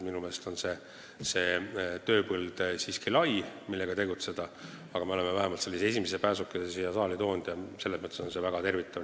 Minu meelest on see tööpõld lai, kus tuleb tegutseda, aga me oleme vähemalt esimese pääsukese siia saali toonud ja see on väga tervitatav.